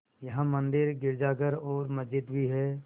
यहाँ मंदिर गिरजाघर और मस्जिद भी हैं